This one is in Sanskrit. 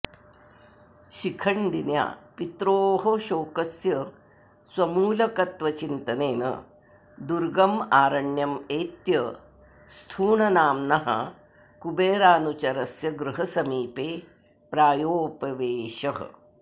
शिखण्डिन्या पित्रोः शोकस्य स्वमूलकत्वचिन्तनेन दुर्गमारण्यमेत्य स्थूणनाम्नः कुबेरानुचरस्य गृहसमीपे प्रायोपवेशः